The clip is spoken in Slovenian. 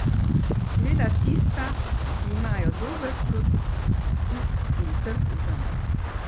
Seveda tista, ki imajo dober produkt in trg zanj.